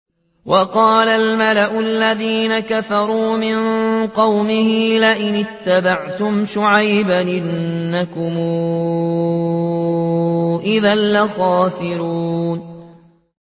وَقَالَ الْمَلَأُ الَّذِينَ كَفَرُوا مِن قَوْمِهِ لَئِنِ اتَّبَعْتُمْ شُعَيْبًا إِنَّكُمْ إِذًا لَّخَاسِرُونَ